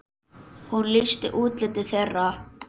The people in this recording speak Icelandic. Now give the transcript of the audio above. Hún lýsti útliti þeirra.